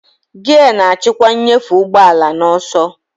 Giya na-achịkwa nnyefe ụgbọ ala na ọsọ.